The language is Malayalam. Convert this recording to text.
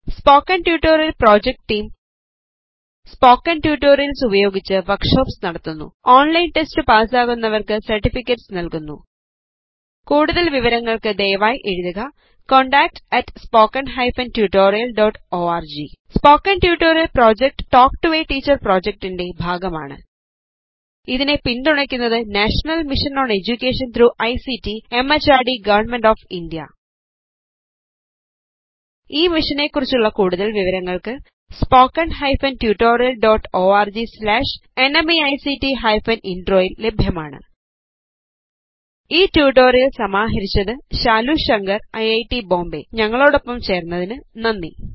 spoken tutorial project team spoken tutorials ഉപയോഗിച്ച് വർക്ക് ഷോപ്സ് നടത്തുന്നു ഓൺലൈൻ ടെസ്റ്റ് പാസാകുന്നവർക്ക് സെർടിഫികറ്റെസ് നൽകുന്നു കൂടുതൽ വിവരങ്ങൾക്ക് ദയവായി എഴുതുക contactspoken tutorialorg spoken tutorial project talk to a teacher പ്രോജക്ടിൻറെ ഭാഗമാണ് ഇതിനെ പിൻതുണക്കുന്നത് national mission on education through ICT MHRD government of India ഈ മിഷനെ കുറിച്ചുള്ള കൂടുതൽ വിവരങ്ങൾക്ക് spoken hyphen tutorial dot org slash NMEICT hyphen intro യിൽ ലഭ്യമാണ് ഈ ട്യൂട്ടോറിയൽ സമാഹരിച്ചത് ശാലു ശങ്കർ ഐറ്റ് ബോംബേ ഞങ്ങളോടൊപ്പം ചേർന്നതിന് നന്ദി